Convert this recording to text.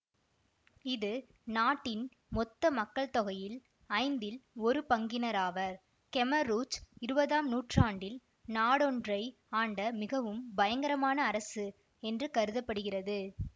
இது நாட்டின் மொத்த மக்கள் தொகையில் ஐந்தில் ஒரு பங்கினராவர் கெமர் ரூச் இருவதாம் நூற்றாண்டில் நாடொன்றை ஆண்ட மிகவும் பயங்கரமான அரசு என்று கருத படுகிறது